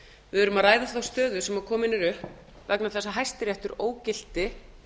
við erum að ræða um þá stöðu sem komin er upp vegna þess að hæstiréttur ógilti